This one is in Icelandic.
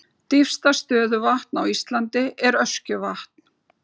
Dýpsta stöðuvatn á Íslandi er Öskjuvatn.